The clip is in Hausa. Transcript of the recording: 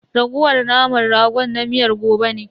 Raguwar naman ragon na miyar gobe ne.